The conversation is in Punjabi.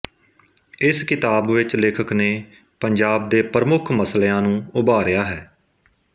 ਇਸ ਕਿਤਾਬ ਵਿੱਚ ਲੇਖਕ ਨੇ ਪੰਜਾਬ ਦੇ ਪ੍ਰਮੁੱਖ ਮਸਲਿਆ ਨੂੰ ਉਭਾਰਿਆ ਹੈ